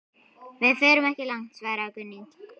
Við förum ekki langt, svaraði Gunni.